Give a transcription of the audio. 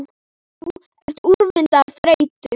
Þú ert úrvinda af þreytu